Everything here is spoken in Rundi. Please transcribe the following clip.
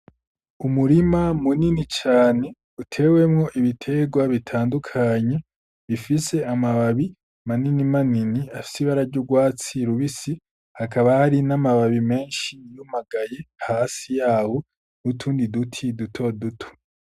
Umurima munini cane utewemwo ibiterwa bitandukanye bifise amababi manini manini afsibararya urwatsi lubisi hakaba hari n'amababi menshi inumagaye hasi yawo n'utundi duti duto duto.